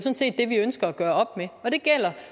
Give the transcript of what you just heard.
ønsker at gøre op med og det gælder